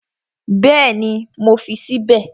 Bẹ́ẹ̀ni, mo fi sí bẹ̀